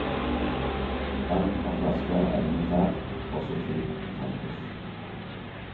Vann fra flaske er elementært, også til tannpuss.